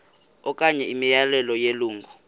okanye imiyalelo yelungu